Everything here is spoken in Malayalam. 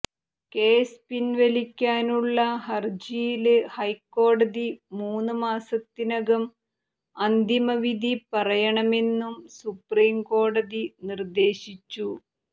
കേസ് പിന്വലിക്കാനുള്ള ഹരജിയില് ഹൈക്കോടതി മൂന്ന് മാസത്തിനകം അന്തിമവിധി പറയണമെന്നും സുപ്രീംകോടതി നിര്ദ്ദേശിച്ചു